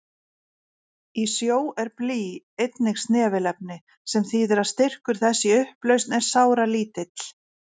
Í sjó er blý einnig snefilefni, sem þýðir að styrkur þess í upplausn er sáralítill.